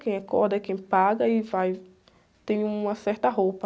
Quem é corda é quem paga e vai... Tem uma certa roupa.